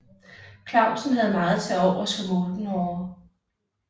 Clausen havde meget tilovers for Moldenhawer